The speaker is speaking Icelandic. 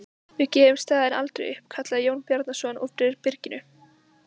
Við gefum staðinn aldrei upp, kallaði Jón Bjarnason úr byrginu.